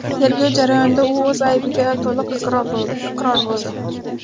Tergov jarayonida u o‘z aybiga to‘liq iqror bo‘ldi.